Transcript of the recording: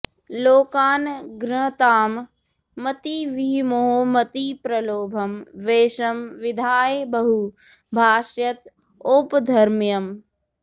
लोकान् घ्नतां मतिविमोहमतिप्रलोभं वेषं विधाय बहु भाष्यत औपधर्म्यम्